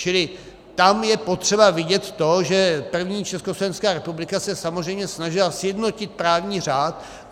Čili tam je potřeba vidět to, že první Československá republika se samozřejmě snažila sjednotit právní řád.